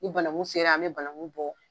Ni bananku sera an be bananku bɔ